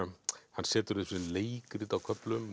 hann setur þau upp sem leikrit á köflum